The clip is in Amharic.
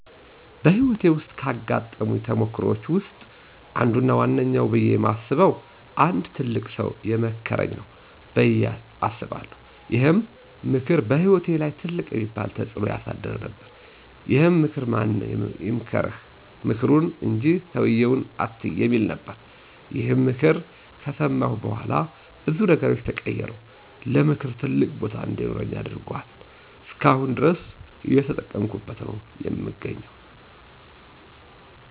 በህይወቴ ውስጥ ካጋጠሙኝ ተሞክሮወች ውስጥ አንዱ እና ዋነኛው ብየ የማስበው አንድ ትልቅ ሠው የመከረኝ ነው በየ አስባለሁ። ይሄም ምክር በህይወቴ ላይ ትልቅ የሚባል ተጽዕኖ ያሳደረ ነበረ። ይሄም ምክር ማንም ይምከርህ ምክሩን እንጂ ሠውየውን አትይ የሚል ነበረ። ይሄን ምክር ከሠማሁ በኋላ ብዙ ነገሮች ተቀየሩ። ለምክር ትልቅ ቦታ እንዲኖረኝ አድርጎአል። እስከአሁን ድረስ እየተጠቀምኩት ነው የምገኘው።